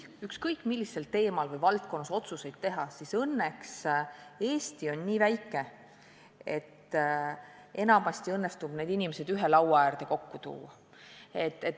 Ükskõik, millisel teemal või valdkonnas otsuseid teha, on Eesti õnneks nii väike, et enamasti õnnestub need inimesed ühe laua äärde kokku tuua.